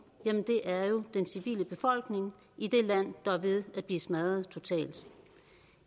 jamen det er jo den civile befolkning i det land der er ved at blive smadret totalt